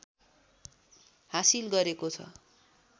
हासिल गरेको छ